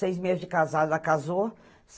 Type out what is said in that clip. Seis meses de casada, ela casou.